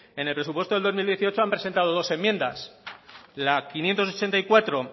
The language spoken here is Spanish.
en el presupuesto del dos mil dieciocho han presentado dos enmiendas la quinientos ochenta y cuatro